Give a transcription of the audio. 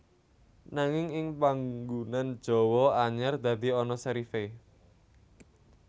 Nanging ing panggunan Jawa anyar dadi ana serif é